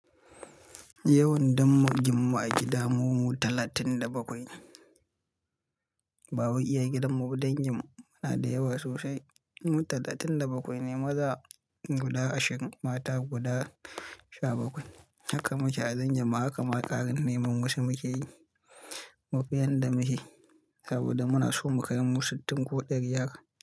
Yawan ɗangin mu a gida mu, mu talatin da bakwai. Ba wai iya gidan mu ba, dan dangin mu muna da yawa sosai. Mu talatin da bakwai ne maza guda ashirin, mata guda sha bakwai. Haka muke a dangin mu, haka ma ƙarinai mamusu muke yi. Mude yan da muke yi saboda muna so mu kai mu sittin ko ɗari yara.